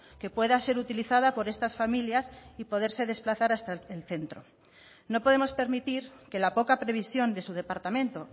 que pueda ser utilizada por estas familias y poderse desplazar hasta el centro no podemos permitir que la poca previsión de su departamento